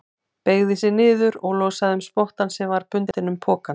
Beygði sig niður og losaði um spottann sem var bundinn um pokann.